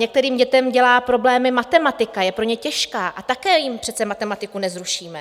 Některým dětem dělá problémy matematika, je pro ně těžká, a také jim přece matematiku nezrušíme.